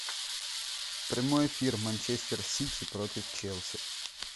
прямой эфир манчестер сити против челси